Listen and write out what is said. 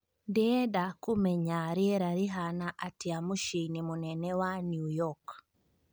ndĩenda kũmenya Rĩera rĩhana atia mũciinĩ mũnene wa new york